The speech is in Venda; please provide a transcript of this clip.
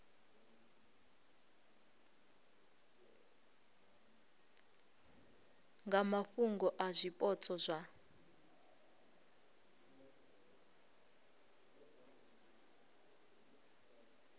nga mafhungo a zwipotso zwa